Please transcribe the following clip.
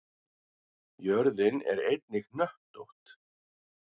Jörðin er einnig hnöttótt.